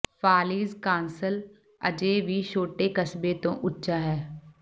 ਫਾਲੀਜ਼ castle ਅਜੇ ਵੀ ਛੋਟੇ ਕਸਬੇ ਤੋਂ ਉੱਚਾ ਹੈ